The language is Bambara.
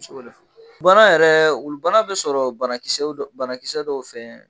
Bana yɛrɛ, wulu bana bɛ sɔrɔ banakisɛw banakisɛ dɔw fɛ